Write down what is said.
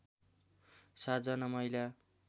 ७ जना महिला